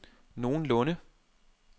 nogenlunde